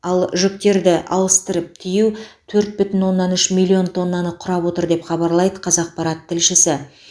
ал жүктерді ауыстырып тиеу төрт бүтін оннан үш миллион тоннаны құрап отыр деп хабарлайды қазақпарат тілшісі